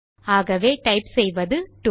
ஆகவே டைப் செய்வது டோ